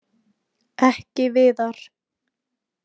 Ekki Viðar.